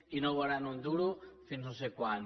i no veuran un duro fins no sé quan